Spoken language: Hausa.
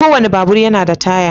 Kowane babur yana da taya.